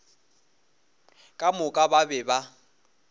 ka moka ba be ba